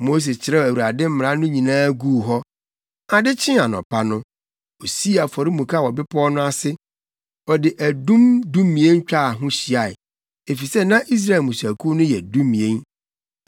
Mose kyerɛw Awurade mmara no nyinaa guu hɔ. Ade kyee anɔpa no, osii afɔremuka wɔ bepɔw no ase. Ɔde adum dumien twaa ho hyiae, efisɛ na Israel mmusuakuw no yɛ dumien.